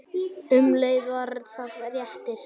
Um leið var það léttir.